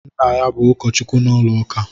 Nna ya bú ụkọchukwu n'ụlọuka